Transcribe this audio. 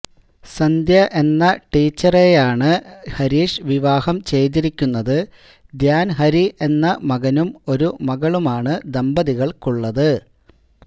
സന്ധ്യ എന്ന ടീച്ചറെയാണ് ആണ് ഹരീഷ് വിവാഹം ചെയ്തിരിക്കുന്നത് ധ്യാന് ഹരി എന്ന മകനും ഒരു മകളുമാണ് ദമ്പതികള്ക്കുള്ളത്